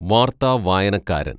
വാര്‍ത്ത വായനക്കാരന്‍